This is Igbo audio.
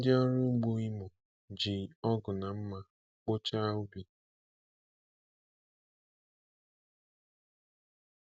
Ndị ọrụ ugbo Imo ji ọgụ na mma kpochaa ubi.